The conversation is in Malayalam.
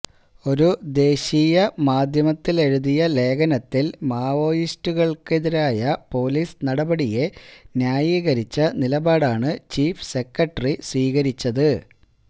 ഒരു ദേശീയ മാധ്യമത്തിലെഴുതിയ ലേഖനത്തിൽ മാവായിസ്റ്റുകള്ക്കെതിരായ പൊലീസ് നടപടിയെ ന്യായീകരിച്ച നിലപാടാണ് ചീഫ് സെക്രട്ടറി സ്വീകരിച്ചത്